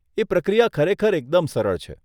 એ પ્રક્રિયા ખરેખર એકદમ સરળ છે.